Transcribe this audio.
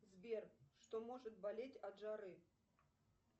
сбер что может болеть от жары